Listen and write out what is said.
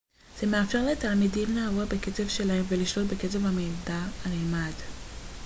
זה מאפשר לתלמידים לעבוד בקצב שלהם ולשלוט בקצב המידע הנלמד